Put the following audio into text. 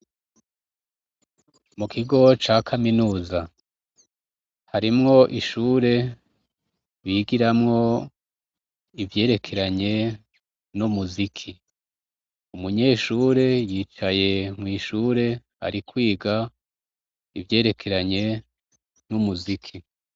Mu kigo ca kaminuza, harimwo ishure bigiramwo ivyerekeranye n'umuziki. Umunyeshure yicaye mw'ishure Ari kwiga ivyerekeranye n'umuziki.